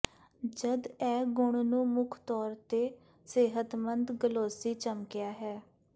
ਜਦ ਇਹ ਗੁਣ ਨੂੰ ਮੁੱਖ ਤੌਰ ਤੇ ਸਿਹਤਮੰਦ ਗਲੋਸੀ ਚਮਕਿਆ ਹੈ